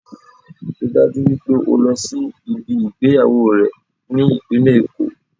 Ríi dájú wípé o lọ sí ibi ìgbéyàwó rẹ̀ ní ìpínlẹ̀ Èkó